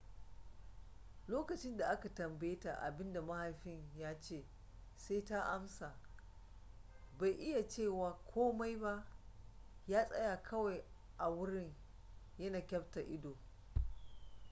lokacin da aka tambaye ta abin da mahaifin ya ce sai ta amsa bai iya cewa komai ba ya tsaya kawai a wurin yana kyafta ido